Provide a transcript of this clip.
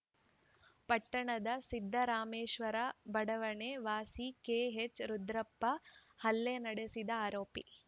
ಪಟ್ಟಣದ ಸಿದ್ದರಾಮೇಶ್ವರ ಬಡಾವಣೆ ವಾಸಿ ಕೆಎಚ್‌ರುದ್ರಪ್ಪ ಹಲ್ಲೆ ನಡೆಸಿದ ಆರೋಪಿ